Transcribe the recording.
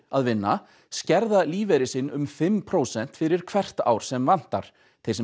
að vinna skerða lífeyri sinn um fimm prósent fyrir hvert ár sem vantar þeir sem